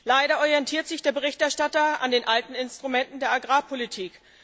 Leider orientiert sich der Berichterstatter an den alten Instrumenten der Agrarpolitik.